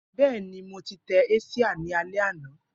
Bẹẹni, Mo ti tẹ asia ni alẹ ana.